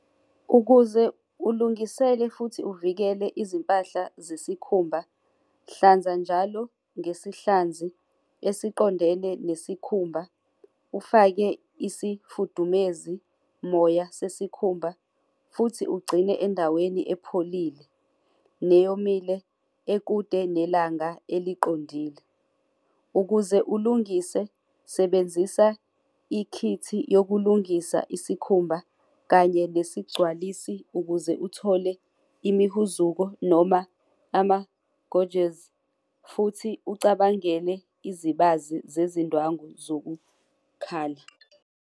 Ukuze ulungiseke futhi uvikele izimpahla zesikhumba, hlanza njalo ngesihlanzi esiqondene nesikhumba, ufake isifudumezi moya sesikhumba futhi ugcine endaweni epholile neyomile ekude nelanga eliqondile. Ukuze ulungise, sebenzisa ikhithi yokulungisa isikhumba kanye nesigcwalisi ukuze uthole imihuzuko noma ama-gouges futhi ucabangele izibazi zezindwangu zokukhala.